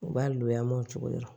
U b'a lo mɔncogo dɔn